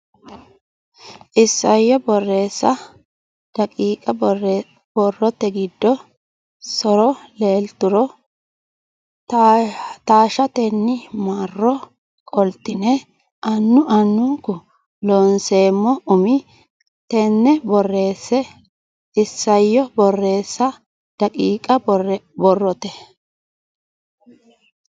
Isayyo Borreessa daqiiqa Borrote giddo so ro leelturo taashshatenni marro qoltine annu annunku Looseemmo umi neta borreesse Isayyo Borreessa daqiiqa Borrote.